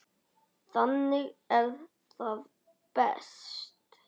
Þannig er það best.